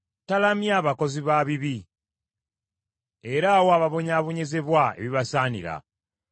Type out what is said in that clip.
Talamya bakozi ba bibi, era awa ababonyaabonyezebwa ebibasaanira.